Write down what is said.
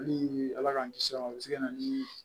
Hali ala k'an kisi a ma o bɛ se ka na ni